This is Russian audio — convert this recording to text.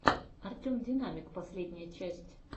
артем динамик последняя часть